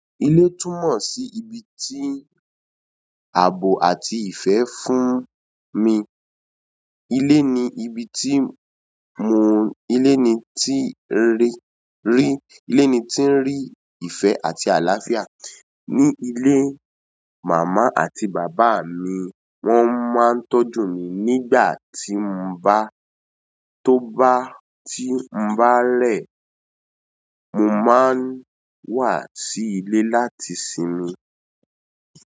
Ilé túmọ̀ sí ibi tí àbò àti ìfẹ́ fún mi. Ilé ni ibi tí mo, ilé ni tí rí, rí, ilé ni tí ń rí ìfẹ́ àti àlàáfíà. Ní ilé, màmá àti bàbá mi wọ́n máa ń tọ́jú mi nígbà tí mo bá, tó bá, tí mo bá rẹ̀. Mo máa ń wá sí ilé láti sinmi.